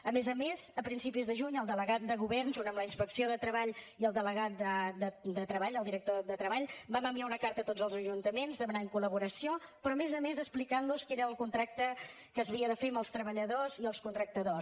a més a més a principis de juny el delegat del govern junt amb la inspecció de treball i el delegat de treball el director de treball vam enviar una carta a tots els ajuntaments demanant col·laboració però a més a més explicant los quin era el contracte que s’havia de fer als treballadors i als contractants